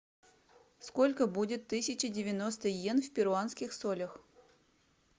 сколько будет тысяча девяносто йен в перуанских солях